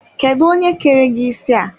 Kedụ onye kere gị isi a?